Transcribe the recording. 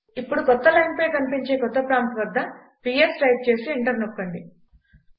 ఇప్పుడు కొత్త లైనుపై కనిపించే కొత్త ప్రాంప్ట్ వద్ద పిఎస్ టైప్ చేసి ఎంటర్ నొక్కండి